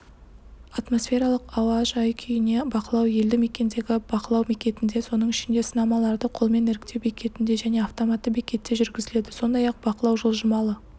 атмосфералық ауа жай-күйіне бақылау елді мекендегі бақылау бекетінде соның ішінде сынамаларды қолмен іріктеу бекетінде және автоматты бекетте жүргізіледі сондай-ақ бақылау жылжымалы